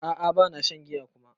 A'a bana shan giya kuma.